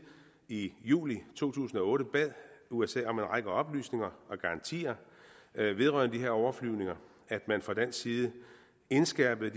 i juli to tusind og otte bad usa om en række oplysninger og garantier vedrørende de her overflyvninger at man fra dansk side indskærpede